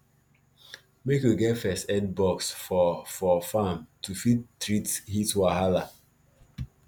make u get first aid box for for farm to fit treat heat wahala